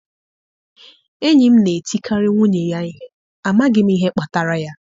Enyi m na-etikarị nwunye ya ihe, amaghị m ihe kpatara ya.